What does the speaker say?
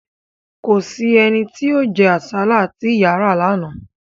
Kò sí ẹni tí ó jẹ́ àsálà tí ìyà ra lánàá